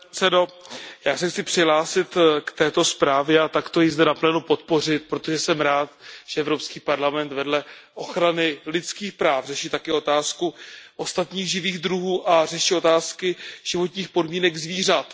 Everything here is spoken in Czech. Pane předsedající, já se chci přihlásit k této zprávě a takto ji zde naplno podpořit, protože jsem rád, že Evropský parlament vedle ochrany lidských práv řeší také otázku ostatních živých druhů a řeší otázky životních podmínek zvířat.